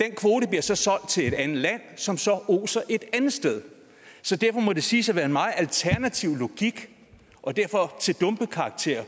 den kvote bliver så solgt til et andet land som så oser et andet sted derfor må det siges at være en meget alternativ logik og derfor til dumpekarakter